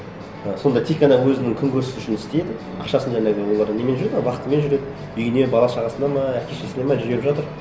і сонда тек қана өзінің күнкөрісі үшін істейді ақшасын жаңағы олар немен жүреді ғой вахтамен жүреді үйіне бала шағасына ма әке шешесіне ме жіберіп жатыр